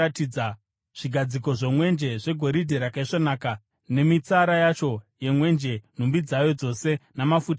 zvigadziko zvomwenje zvegoridhe rakaisvonaka nemitsara yacho yemwenje, nhumbi dzayo dzose, namafuta omwenje;